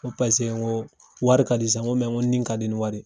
N ko paseke n ko wari ka di sa n ko ni ka di ni wari ye.